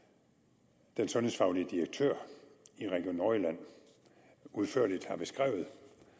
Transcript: den sundhedsfaglige direktør i region nordjylland udførligt har beskrevet